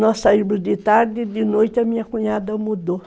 Nós saímos de tarde e de noite a minha cunhada mudou.